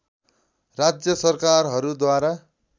राज्य सरकारहरूद्वारा